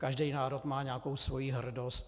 Každý národ má nějakou svoji hrdost.